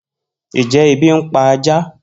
Njẹ ebi npa ajá?